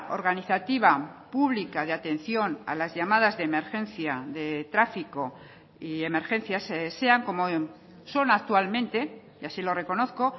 organizativa pública de atención a las llamadas de emergencia de tráfico y emergencias sean como son actualmente y así lo reconozco